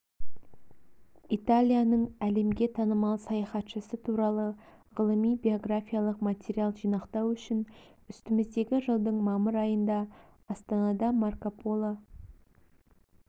италияның әлемге танымал саяхатшысы туралы ғылыми-биографиялық материал жинақтау үшін үстіміздегі жылдың мамыр айында астанада марко поло